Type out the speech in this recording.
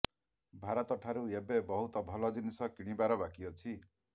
ଭାରତଠାରୁ ଏବେ ବହୁତ ଭଲ ଜିନିଷ କିଣିବାର ବାକି ଅଛି